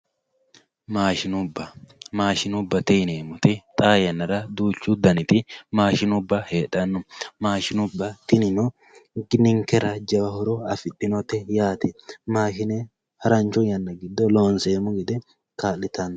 Mashinubba mashinubate yinemoti xaa yanara duuchu daniti mashinubba hedhano mashinubba tinino ninkera jawa horo afidhinote yaate mashine harancho yana gido lonsemo gede kaalitano.